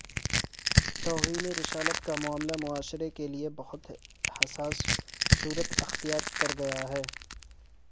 توہین رسالت کا معاملہ معاشرے کے لیے بہت حساس صورت اختیار کر گیا ہے